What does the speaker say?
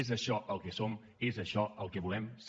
és això el que som és això el que volem ser